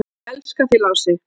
"""Ég elska þig, Lási."""